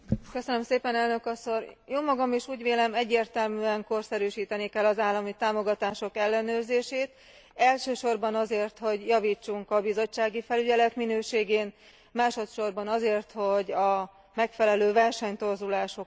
Jómagam is úgy vélem, egyértelműen korszerűsíteni kell az állami támogatások ellenőrzését, elsősorban azért, hogy javítsunk a bizottsági felügyelet minőségén, másodsorban azért, hogy a megfelelő versenytorzulásokat korlátozni tudjuk.